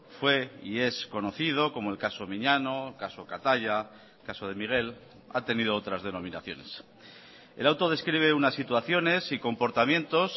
fue y es conocido como el caso miñano caso kataia caso de miguel ha tenido otras denominaciones el auto describe unas situaciones y comportamientos